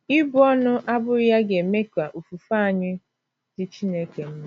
Ibu ọnụ,, abụghị ya ga - eme ka ofufe anyị dị Chineke mma.